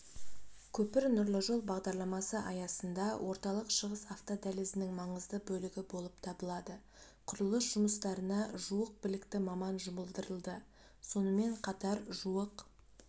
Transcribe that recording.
көпір нұрлы жол бағдарламасы аясында орталық шығыс автодәлізінің маңызды бөлігі болып табылады құрылыс жұмыстарына жуық білікті маман жұмылдырылды сонымен қатар жуық